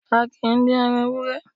A kìí dín ẹran ewúré